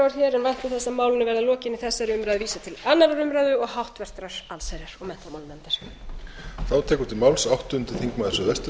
að málinu verði að lokinni þessari umræðu vísað til annarrar umræðu og háttvirtrar allsherjar og menntamálanefndar